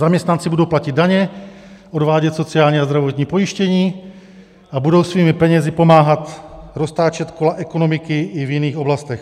Zaměstnanci budou platit daně, odvádět sociální a zdravotní pojištění a budou svými penězi pomáhat roztáčet kola ekonomiky i v jiných oblastech.